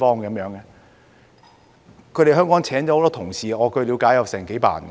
他們在香港聘請了很多員工，據我了解有幾百人。